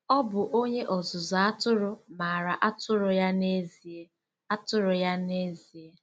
Ọ bụ onye ọzụzụ atụrụ maara atụrụ ya n'ezie! atụrụ ya n'ezie!